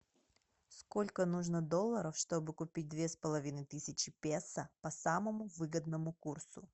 сколько нужно долларов чтобы купить две с половиной тысячи песо по самому выгодному курсу